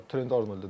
Trent Arnold dedim.